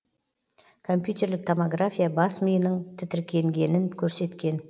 компьютерлік томография бас миының тітіркенгенін көрсеткен